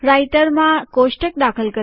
રાઈટરમાં કોષ્ટક દાખલ કરવા